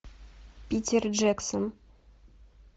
питер джексон